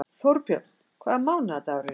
Þórbjörn, hvaða mánaðardagur er í dag?